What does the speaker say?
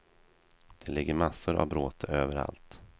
Det ligger massor av bråte överallt.